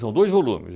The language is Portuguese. São dois volume.